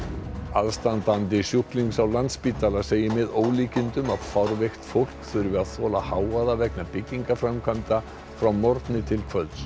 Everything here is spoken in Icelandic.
aðstandandi sjúklings á Landspítala segir með ólíkindum að fárveikt fólk þurfi að þola hávaða vegna byggingaframkvæmda frá morgni til kvölds